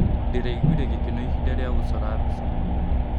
Ndĩraiguire gĩkeno ihinda rĩa gũcora mbica.